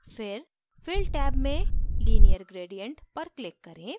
फिर fill tab में linear gradient पर click करें